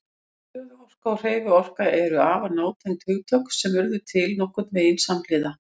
Stöðuorka og hreyfiorka eru afar nátengd hugtök sem urðu til nokkurn veginn samhliða.